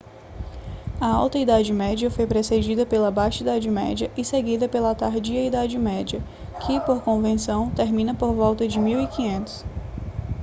a alta idade média foi precedida pela baixa idade média e seguida pela tardia idade média que por convenção termina por volta de 1500